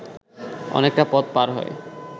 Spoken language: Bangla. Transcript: অনেকটা পথ পার হয়ে